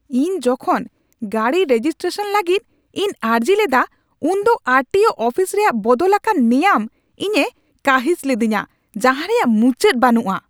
ᱤᱧ ᱡᱚᱠᱷᱚᱱ ᱜᱟᱹᱰᱤ ᱨᱮᱡᱤᱥᱴᱨᱮᱥᱚᱱ ᱞᱟᱹᱜᱤᱫ ᱤᱧ ᱟᱹᱨᱡᱤ ᱞᱮᱫᱟ ᱩᱱᱫᱚ ᱟᱨ ᱴᱤ ᱳ ᱚᱯᱷᱤᱥ ᱨᱮᱭᱟᱜ ᱵᱚᱫᱚᱞ ᱟᱠᱟᱱ ᱱᱮᱭᱟᱢ ᱤᱧᱮ ᱠᱟᱺᱦᱤᱥ ᱞᱮᱫᱮᱧᱟ ᱡᱟᱦᱟᱸ ᱨᱮᱭᱟᱜ ᱢᱩᱪᱟᱹᱫ ᱵᱟᱹᱱᱩᱜᱼᱟ ᱾